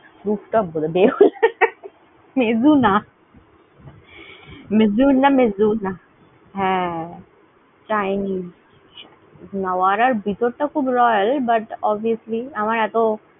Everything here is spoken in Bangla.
Roof top গুল, দেহুলা। Mezzuna Mezzuna Mezzuna হ্যাঁ, chinese । নাওইয়ার ভিতর খুব royal but obviously আমার এত